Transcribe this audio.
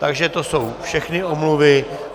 Takže to jsou všechny omluvy.